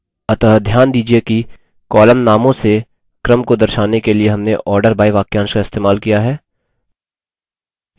अतः ध्यान दीजिये कि column नामों से क्रम को दर्शाने के लिए हमने order by वाक्यांश का इस्तेमाल किया है